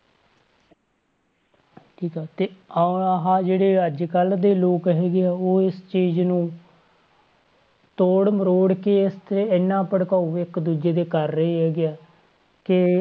ਠੀਕ ਆ ਤੇ ਆਹ ਜਿਹੜੇ ਅੱਜ ਕੱਲ੍ਹ ਦੇ ਲੋਕ ਹੈਗੇ ਆ ਉਹ ਇਸ ਚੀਜ਼ ਨੂੰ ਤੋੜ ਮਰੋੜ ਕੇ ਇੱਥੇ ਇੰਨਾ ਭੜਕਾਊ ਇੱਕ ਦੂਜੇ ਤੇ ਕਰ ਰਹੇ ਹੈਗੇ ਆ ਕਿ